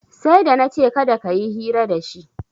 Sai da na ce kada ka yi hira dashi